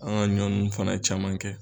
An ka ɲɔ nunnu fana caman kɛ